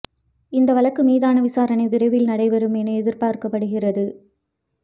இந்த வழக்கு மீதான விசாரணை விரைவில் நடைபெறும் என எதிர்பார்க்கப்படுகிறது